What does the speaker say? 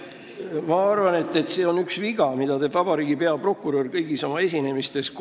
Ma arvan, et see on üks viga, mida teeb vabariigi peaprokurör korduvalt kõigis oma esinemistes.